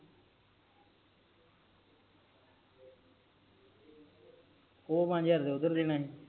ਓ ਪਾਂਜ ਹਜਾਰ ਹਜੇ ਓਦਰ ਦੇਣਾ